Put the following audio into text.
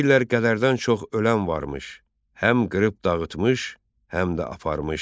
Deyirlər qələrdən çox ölən varmış, həm qırıb dağıtmış, həm də aparmış.